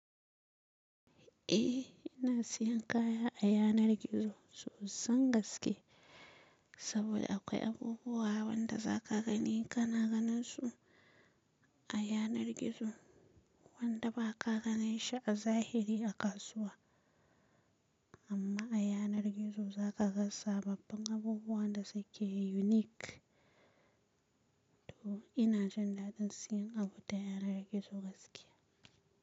Eh ina siyan kaya a yanar gizo sosan gaske saboda akwai abubuwa wanda za ka gani ka na ganin su a yanar gizo wanda ba ka ganin shi a zahiri a kasuwa. Amma a yanar gizo za ka gan sababbin abubuwan da suke unique. To ina jan dadin siyan abu ta yanar gizo gaskiya.